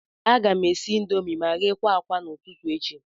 A ga m esi indomii ma ghe akwa n'ụtụtụ echi.